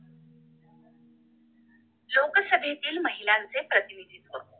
लोकसभेतील महिलांचे प्रतिनिधित्व